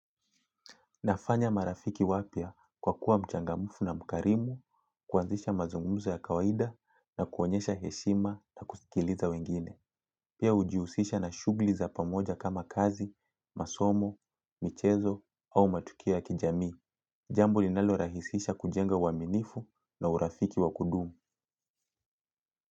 Nafanya marafiki wapya kwa kuwa mchangamfu na mkarimu kuanzisha mazungumzo ya kawaida na kuonyesha heshima na kusikiliza wengine. Pia ujihusisha na shughuli za pamoja kama kazi, masomo, michezo au matukio ya kijamii. Jambo linalorahisisha kujenga uaminifu na urafiki wa kudumu.